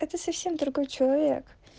это совсем другой человек